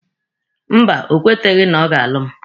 Mba, o kweteghị na ọ ga-alụ mụ.